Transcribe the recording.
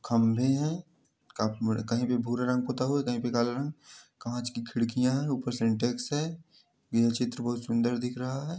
खम्बे हैं काफी बड़े कहीं पे भूरा रंग पुता हुआ है कहीं पे काला रंग काँच की खिडकियाँ हैं ऊपर सिंटेक्स है। यह चित्र बहोत सुंदर दिख रहा है।